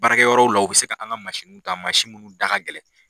Baarakɛ yɔrɔw la u be se an ka ta mun da ka gɛlɛn.